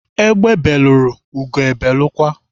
Ebe belụrụ, ugo ebelụkwa.